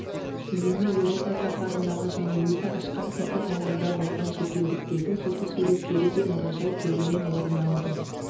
киімі еуропа сапарындағы және өзі ашқан этноауылда болған шетелдіктердің фотосуреттері де мұражай төрінен орын алды